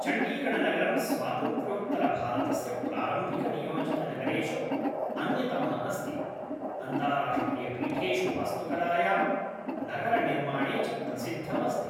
चण्डीगढनगरं स्वातन्त्र्योत्तरभारतस्य प्रारम्भिकनियोजितनगरेषु अन्यतमः अस्ति, अन्ताराष्ट्रीयपीठेषु वास्तुकलायां, नगरनिर्माणे च प्रसिद्धमस्ति।